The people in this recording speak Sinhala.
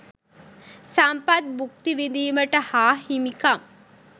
සම්පත් බුක්ති විදීමට හා හිමිකම්